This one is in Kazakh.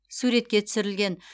суретке түсірілген